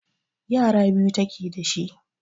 yara biyu take dashi